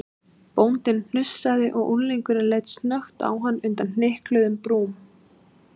Bóndinn hnussaði og unglingurinn leit snöggt á hann undan hnykluðum brúm.